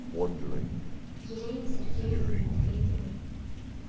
елене сергеевне медведевой